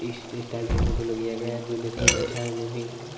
इस स्टाइल से फोटो लग जायेगा जो देखने में अच्छा है अमेजिंग लग रहा है।